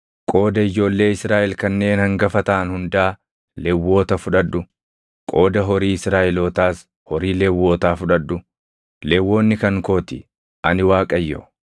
“Qooda ijoollee Israaʼel kanneen hangafa taʼan hundaa Lewwota fudhadhu; qooda horii Israaʼelootaas horii Lewwotaa fudhadhu. Lewwonni kan koo ti. Ani Waaqayyo.